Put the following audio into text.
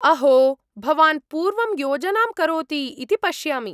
-अहो! भवान् पूर्वं योजनां करोति इति पश्यामि।